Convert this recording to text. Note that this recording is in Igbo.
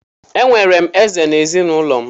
Enwere m Eze na ezinụlọ m.